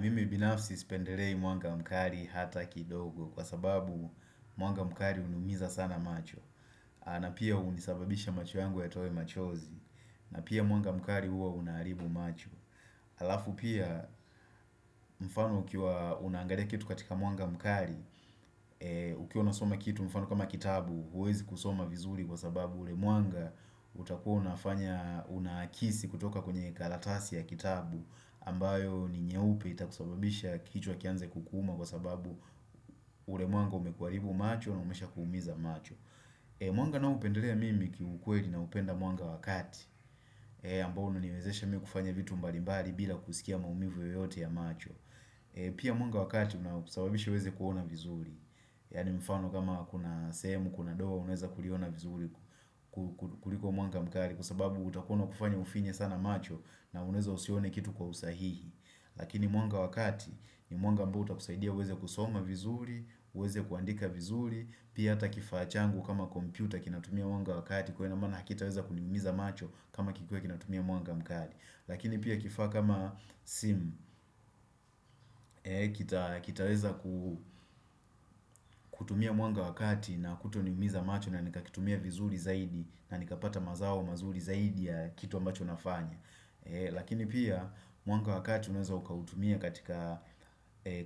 Mimi binafsi sipendelei mwanga mkali hata kidogo kwa sababu mwanga mkali unaumiza sana macho na pia unasababisha macho yangu yatowe machozi na pia mwanga mkali huwa unaharibu macho Halafu pia mfano ukiwa unaangalia kitu katika mwanga mkali Ukiwa unasoma kitu mfano kama kitabu huwezi kusoma vizuri kwa sababu ule mwanga utakuwa unafanya unakisi kutoka kwenye karatasi ya kitabu ambayo ni nyeupe itakusababisha kichwa kianze kukuuma kwa sababu ule mwanga umekuharibu macho na umesha kuumiza macho Mwanga na upendelea mimi kiukweli na upenda mwanga wa kati ambao unaniwezesha mimi kufanya vitu mbalimbali bila kusikia maumivu yoyote ya macho Pia mwanga wa kati unakusababisha uweze kuona vizuri yaani mfano kama kuna sehemu kuna doa unaweza kuliona vizuri kuliko mwanga mkali kwasababu utakua unakufanya ufinye sana macho na uneza usione kitu kwa usahihi Lakini mwanga wa kati ni mwanga ambao utakusaidia uweze kusoma vizuri, uweze kuandika vizuri Pia ata kifaa changu kama kompyuta kinatumia mwanga wakati Kwa inamana kitaweza kuniumiza macho kama kikiwa kinatumia mwanga mkali Lakini pia kifaa kama simu Kitaweza kutumia mwanga wakati na kutoniumiza macho na nikakitumia vizuri zaidi na nikapata mazao mazuri zaidi ya kitu ambacho nafanya Lakini pia mwanga wa kati unaweza ukautumia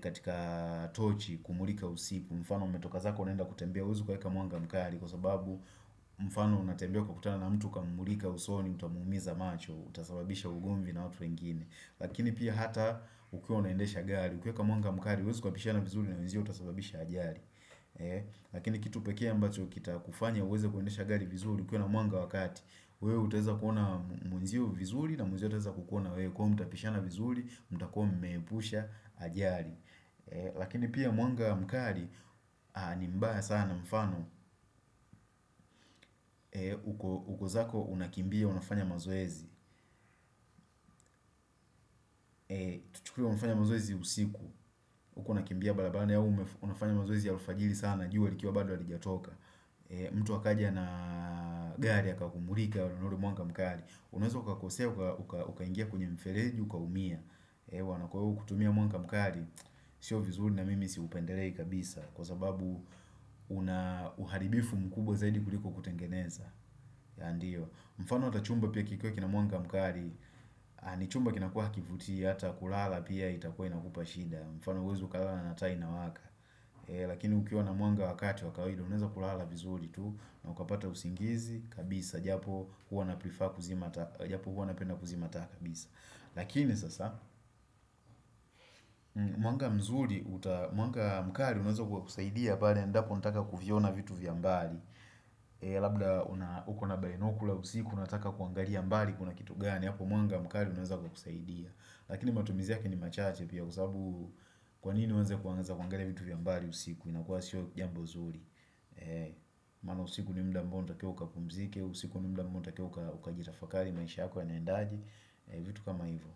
katika tochi kumulika usiku mfano umetoka zako unenda kutembea huwezi kuweka mwanga mkali Kwa sababu mfano unatembea ukutana na mtu ukamumlika usoni utamuumiza macho utasababisha ugomvi na watu wengine Lakini pia hata ukiwa unaendesha gari Ukiweka mwanga mkali huwezi ukapishana vizuri na unzio utasababisha ajari Lakini kitupekee ambacho kitakufanya uweza kuendesha gari vizuri ukiwa na mwanga wakati wewe utaweza kuona mwenzio vizuri na mwenzio ataweza kukuona wewe kwaiyo mtapishana vizuri, mta kwa mpusha ajari Lakini pia mwanga mkali nimbaya sana mfano uko zako unakimbia unafanya mazoezi Tuchukue unafanya mazoezi usiku huku unakimbia barabani au unafanya mazoezi ya alfajiri sana jua likiwa bado halijatoka mtu akaja na gari akakumulika waona ule mwanga mkali Unaweza ukakosea, ukaingia kwenye mfeleji, ukaumia eh, kwa iyo kutumia mwanga mkali Sio vizuri na mimi siupendelei kabisa Kwa sababu una uharibifu mkubwa zaidi kuliko kutengeneza mfano atav chumba pia kikiwa kina mwanga mkali ni chumba kinakua hakivutii Hata kulala pia itakua inakupa shida mfano huwezi ukalala na taa inawaka Lakini ukiwa na mwanga wa kati wa kawaida unaeza kulala vizuri tu na ukapata usingizi, kabisa japo hua napenda kuzima taa kabisa lakini sasa mwanga mzuri mwanga mkali unaeza kwa kusaidia bada endapo nataka kuviona vitu vya mbali labda uko nabainokula usiku unataka kuangalia mbali kuna kitu gani hapo mwanga mkali auneza kukusaidia lakini matumizi yake ni machache pia kusabu kwanini uanze kuangalia vitu vya mbali usiku inakua sio jambo zuri Maana usiku ni muda ambao unatakiwa ukapumzike usiku ni muda ambao unatakiwa ukajirafakari maisha yako yanaendaje vitu kama hivyo.